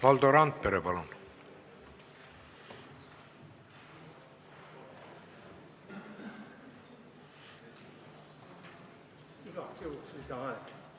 Valdo Randpere, palun!